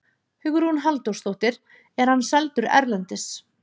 Hugrún Halldórsdóttir: Er hann seldur erlendis?